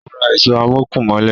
Ó Ra ìṣó o amókùn mólẹ̀.